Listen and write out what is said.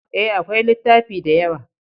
E, akwai littafi da yawa.